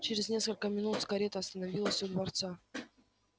чрез несколько минут карета остановилась у дворца